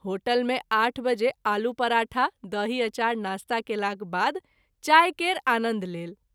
Hotel में 8 बजे आलू पराठा दही अचार नास्ता केलाक बाद चाय केर आनन्द लेल।